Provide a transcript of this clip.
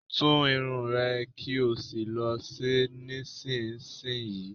Tú irun ẹ̀ kí ò sì lọ ṣe é nísinsìnyí!